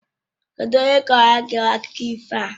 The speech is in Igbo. Kedụ onye kọọrọ gị akụkọ ifo a?